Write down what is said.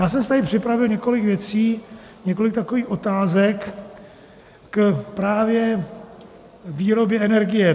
Já jsem si tady připravit několik věcí, několik takových otázek k právě výrobě energie.